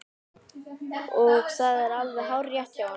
Og það er alveg hárrétt hjá honum.